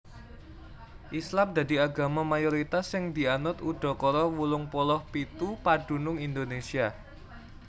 Islam dadi agama mayoritas sing dianut udakara wolung puluh pitu padunung Indonésia